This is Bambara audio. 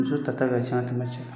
Muso ta ta ka ca ka tɛmɛ cɛ kan.